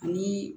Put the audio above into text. Ani